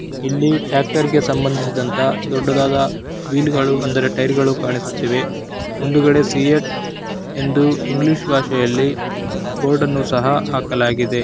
ಇಲ್ಲಿ ಟ್ಯಾಕ್ಟರ್ ಗೆ ಸಂಬಂದಿಸಿದಂತ ದೊಡ್ಡದಾದ ವೀಲ್ ಗಳು ಅಂದರೆ ಟೈರ್ ಗಳು ಕಾಣಿಸುತ್ತಿವೆ. ಮುಂದುಗಡೆ ಸೀಟ್ ಎಂದು ಇಂಗ್ಲಿಷ್ ಭಾಷೆಯಲ್ಲಿ ಬೋರ್ಡ್ ಅನ್ನು ಸಹ ಹಾಕಲಾಗಿದೆ.